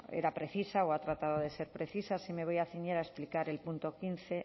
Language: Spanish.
era precisa o ha tratado de ser precisa sí me voy a ceñir a explicar